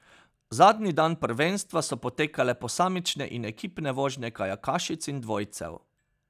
Zadnji dan prvenstva so potekale posamične in ekipne vožnje kajakašic in dvojcev.